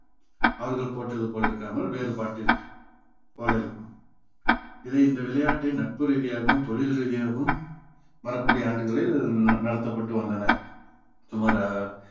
அவர்கள் போட்டது போல இருக்காமல் வேறுபாட்டிற்~ போல் இருக்கும் இதை இந்த விளையாட்டை நட்பு ரீதியாகவும் தொழில் ரீதியாகவும் வரக்கூடிய ஆண்டுகளில் நடத்தப்பட்டு வந்தன சுமார்